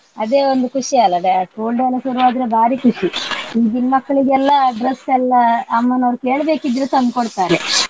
ಅದೇ ಒಂದು ಖುಷಿ ಅಲ್ಲ da~ school day ಎಲ್ಲ ಶುರು ಆದ್ರೆ ಬಾರಿ ಖುಷಿ. ಈಗಿನ್ ಮಕ್ಲಿಗೆಲ್ಲ dress ಎಲ್ಲಾ ಅಮ್ಮನವರು ಕೇಳ್ಬೇಕಿದ್ರೆ ತಂದ್ ಕೊಡ್ತಾರೆ.